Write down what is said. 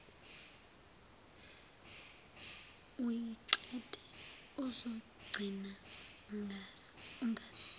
uyiqede uzogcina ungazi